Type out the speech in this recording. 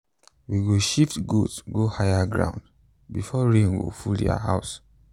we go shift goat go higher ground before rain go full their house.